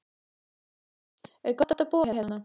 Kristján: Er gott að búa hérna?